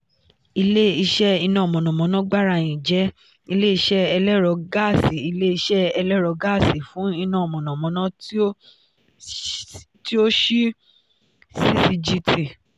ile-iṣẹ iná mọ̀nàmọ́ná gbarain jẹ ile-iṣẹ ẹlẹ́rọ gáàsì ile-iṣẹ ẹlẹ́rọ gáàsì fún iná mọ̀nàmọ́ná ti o ṣii ccgt.